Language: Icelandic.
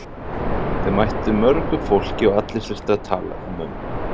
Þau mættu mörgu fólki og allir þurftu að tala við mömmu.